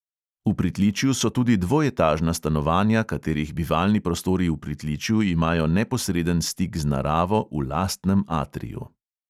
V pritličju so tudi dvoetažna stanovanja, katerih bivalni prostori v pritličju imajo neposreden stik z naravo v lastnem atriju.